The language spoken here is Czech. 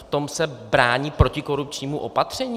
V tom se brání protikorupčnímu opatření?